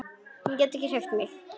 Get ekki hreyft mig.